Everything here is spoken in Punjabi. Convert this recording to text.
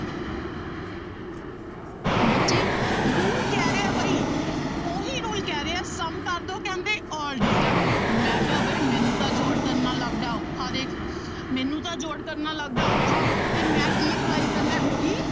ਬੱਚੇ rule ਕਹਿ ਰਿਹਾ ਬਾਈ ਉਹੀ rule ਕਹਿ ਰਿਹਾ ਹੈ sum ਕਰਦੋ ਕਹਿੰਦੇ all digit ਦਾ, ਮੈਂ ਕਿਹਾ ਬਾਈ ਮੈਨੂੰ ਤਾਂ ਜੋੜ ਕਰਨਾ ਲੱਗਦਾ ਔਖਾ ਦੇਖ ਮੈਨੂੰ ਤਾਂ ਜੋੜ ਕਰਨਾ ਲੱਗਦਾ ਹੈ ਔਖਾ, ਤੇ ਮੈਂ ਕੀ apply ਕਰਨਾ ਹੈ ਉਹੀ